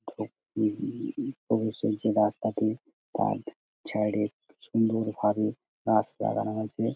Of শুনছি রাস্তাটি বাদ ছাড়ে সুন্দর ভাবে গাছ লাগানো হয়েছে ।